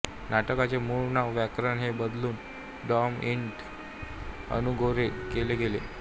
नाटकाचे मूळ नाव व्याकरण ते बदलून डॅम इट अनू गोरे केले गेले